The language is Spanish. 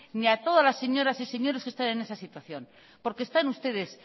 ni a todas las señoras y señores que están en esa situación porque están ustedes